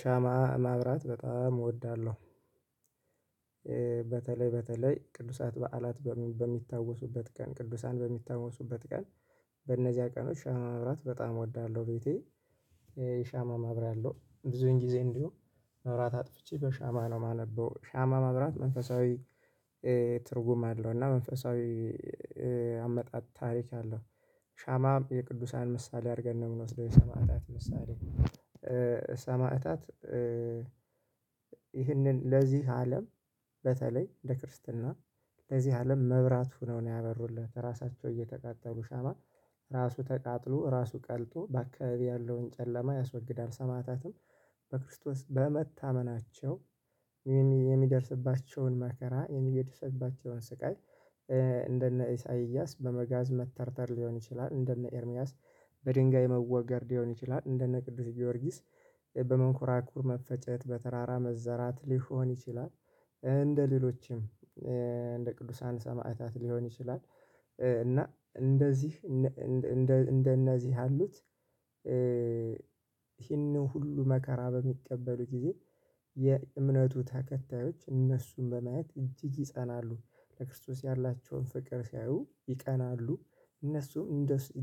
ሻማ ማብራት በጣም እወዳለሁ። በተለይ በተለይ ቅዱሳት በዓላት በሚታወሱበት ቀን ቅዱሳን በሚታወሱበት ቀን በእነዚያ ቀኖች ሻማ ማብራት በጣም እወዳለሁ። ቤቴ የሻማ ማብሪያ አለው ብዙን ጊዜ እንደውም መብራት አጥፍቼ በሻማ ነው የማነበው ሻማ ማብራት መንፈሳዊ ትርጉም አለው እና መንፈሳዊ አመጣጥ ታሪክ አለው። ሻማ የቅዱሳን ምሳሌ አድርገን ነው የምንወስደው የሰማዕታት ምሳሌ ሰማዕታት ይህንን ለዚህ አለም በተለይ ለክርስትና ለዚህ አለም መብራት ሁነው ነው ያበሩለት ራሳቸው እየተቃጠሉ ሻማ ራሱ ተቃጥሎ ራሱ ቀልጦ በአካባቢ ያለውን ጨለማ ያስወግዳል። ሰማዕታትም በክርስቶስ በመታመናቸው የሚደርስባቸውን መከራ የሚደርስባቸውን ስቃይ እንደነ ኢሳይያስ በመጋዝ መተርተር ሊሆን ይችላል። እንደነ ኤርሚያስ በድንጋይ መወገር ሊሆን ይችላል። እንደነ ቅዱስ ጊዮርጊስ በመንኮራኩር መፈጨት በተራራ መዘራት ሊሆን ይችላል። እንደሌሎችም እንደ ቅዱሳን ሰማዕታት ሊሆን ይችላል። እና እንደዚህ እንደነዚህ ያሉት ይህንን ሁሉ መከራ በሚቀበሉ ጊዜ የእምነቱ ተከታዮች እነሱን በማየት እጅግ ይጸናሉ ለክርስቶስ ያላቸውን ፍቅር ሲያዩ ይቀናሉ። እነሱም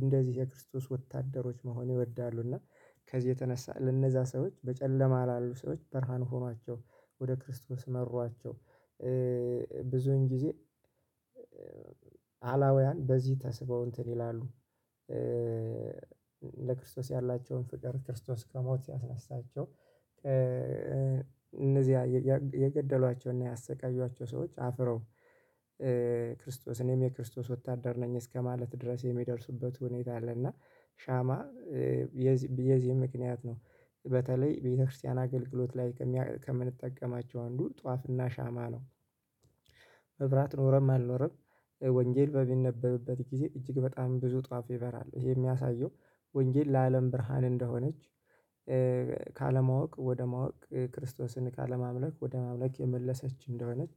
እንደዚህ የክርስቶስ ወታደሮች መሆን ይወዳሉ እና ከዚህ የተነሳ ለነዛ ሰዎች በጨለማ ላሉ ሰዎች ብርሃን ሆኗቸው ወደ ክርስቶስ መሯቸው። ብዙን ጊዜ አላውያን በዚህ ተስበው እንትን ይላሉ ለክርስቶስ ያላቸውን ፍቅር ክርስቶስ ከሞት ሲያስነሳቸው እነዚያ የገደሏቸውን ያሰቃዩዋቸው ሰዎች አፍረው ክርስቶስ እኔም የክርስቶስ ወታደር ነኝ እስከማለት ድረስ የሚደርሱበት ሁኔታ አለ። እና ሻማ የዚህ ምክንያት ነው በተለይ ቤተክርስቲያን አገልግሎት ላይ ከምንጠቀማቸው አንዱ ጧፍና ሻማ ነው። መብራት ኖረም አልኖረም ወንጌል በሚነበብበት ጊዜ እጅግ በጣም ብዙ ጧፍ ይበራል። ይሄ የሚያሳየው ወንጌል ለአለም ብርሃን እንደሆነች ካለማወቅ ወደ ማወቅ ክርስቶስን ካለማምለክ ወደ ማምለክ የመለሰች እንደሆነች።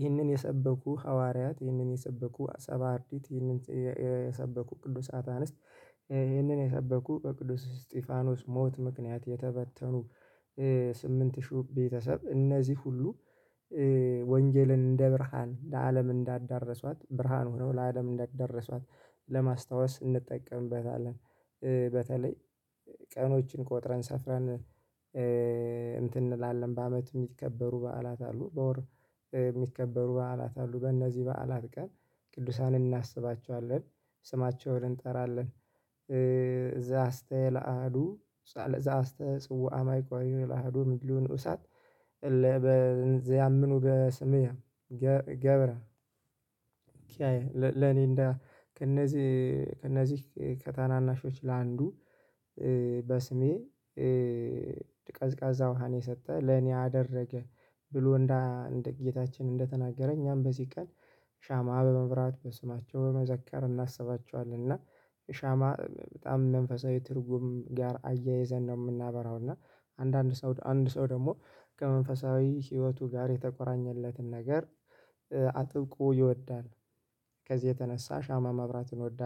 ይህንን የሰበኩ ሐዋርያት ይህንን የሰበኩ ሰባእርዲድ ይህንን የሰበኩ ቅዱስ አታነስት ይህንን የሰበኩ በቅዱስ እስጢፋኖስ ሞት ምክንያት የተበተኑ ስምንት ሺው ቤተሰብ እነዚህ ሁሉ ወንጌልን እንደ ብርሃን ለአለም እንዳዳረሷት ብርሃን ሆነው ለአለም እንዳዳረሷት ለማስታወስ እንጠቀምበታለን። በተለይ ቀኖችን ቆጥረን ሰፍረን እንትን እንላለን በአመት የሚከበሩ በዓላት አሉ በወር የሚከበሩ በዓላት አሉ። በእነዚህ በዓላት ቀን ቅዱሳን እናስባቸዋለን ስማቸውን እንጠራለን እዛ አስተላአሀዱ እዛ አስተጽዋ አማይቆሪ ለሀዱ ምድሉን ኡሳት እለበዚያምኑ በስምየ ገብረ ለኔ እንደ ከእነዚህ ከእነዚህ ከታናናሾች ለአንዱ በስሜ ቀዝቃዛ ውሃን የሰጠ ለኔ አደረገ ብሎ እንደ እንደ ጌታችን እንደተናገረ እኛም በዚህ ቀን ሻማ በማብራት በስማቸው በመዘከር እናስባቸዋለን። እና ሻማ በጣም መንፈሳዊ ትርጉም ጋር አያይዘን ነው የምናበራው እና አንዳንድ ሰው አንድ ሰው ደግሞ ከመንፈሳዊ ህይወቱ ጋር የተቆራኘለትን ነገር አጥብቆ ይወዳል። ከዚህ የተነሳ ሻማ ማብራትን እወዳለሁ